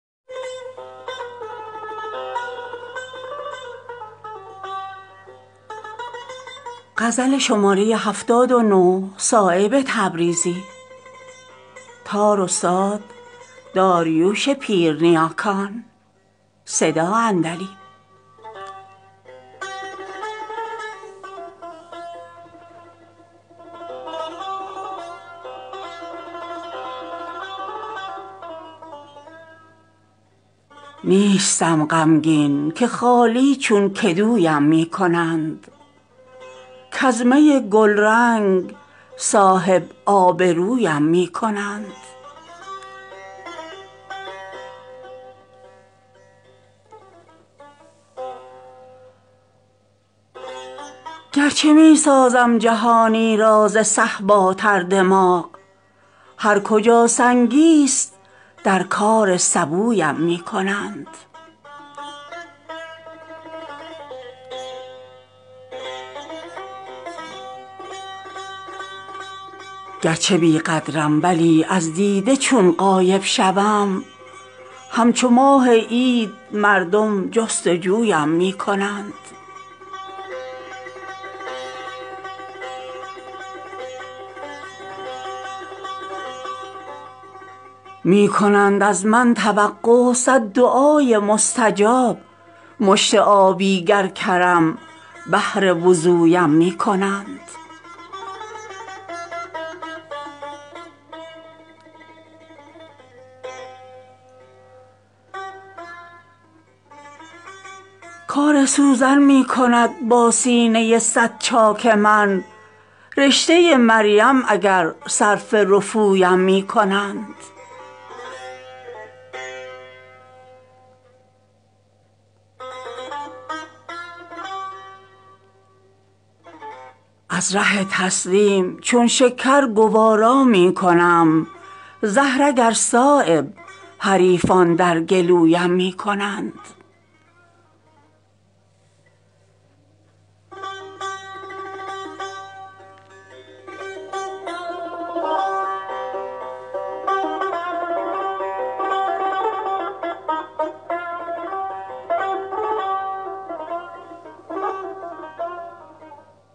نیستم غمگین که خالی چون کدویم می کنند کز می گلرنگ صاحب آبرویم می کنند دست من چون برگ تاک از رعشه ساغر گیر نیست باده چون مینا دگرها در گلویم می کنند گرچه می سازم جهانی را زصهبا تردماغ هر کجا سنگی است در کار سبویم می کنند می شود بر دیده من عالم روشن سیاه جای می گر آب حیوان در کدویم می کنند گرچه بیقدرم ولی از دیده چون غایب شوم همچو ماه عید مردم جستجویم می کنند می کنند از من توقع صد دعای مستجاب مشت آبی گر کرم بهر وضویم می کنند کار سوزن می کند با سینه صدچاک من رشته مریم اگر صرف رفویم می کنند می کنم شکر بخیلان از کریمان بیشتر کز ره امساک حفظ آبرویم می کنند از ره تسلیم چون شکر گوارا می کنم زهر اگر صایب حریفان در گلویم می کنند